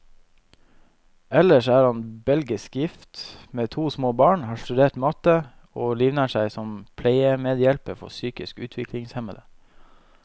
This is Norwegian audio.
Ellers er han belgisk gift, med to små barn, har studert matte, og livnært seg som pleiemedhjelper for psykisk utviklingshemmede.